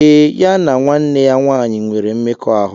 Ee, ya na nwanne ya nwanyị nwere mmekọahụ.